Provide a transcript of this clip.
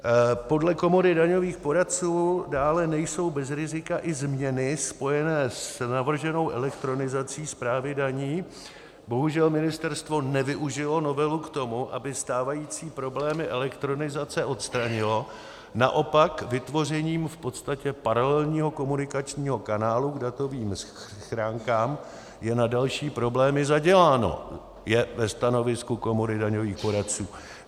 Podle Komory daňových poradců dále nejsou bez rizika i změny spojené s navrženou elektronizací správy daní, bohužel ministerstvo nevyužilo novelu k tomu, aby stávající problémy elektronizace odstranilo, naopak vytvořením v podstatě paralelního komunikačního kanálu k datovým schránkám je na další problémy zaděláno, je ve stanovisku Komory daňových poradců.